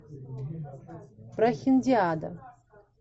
прохиндиада